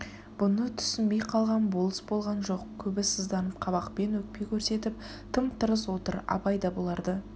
бұны түссінбей қалған болыс болған жоқ көбі сызданып қабақпен өкпе көрсетіп тым-тырс отыр абай да бұларды